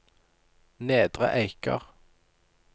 Nedre Eiker